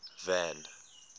van